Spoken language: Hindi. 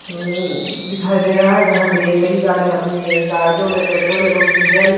अम दिखाई दे रहा है जहाँ पे कई गाड़ीयां अपने गाड़ीयों में पेट्रोल एवम डीजल --